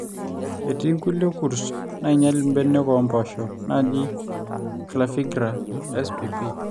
etii nkulie kurt naainyal mbeniak oompoosho naaji (Clavigralla spp)